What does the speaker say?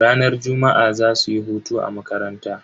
Ranar juma'a zasuyi hutu a makaranta.